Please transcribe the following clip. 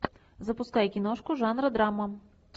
запускай киношку жанра драма